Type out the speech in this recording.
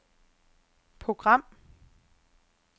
program